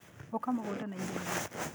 ũka mũgũnda na ihenya.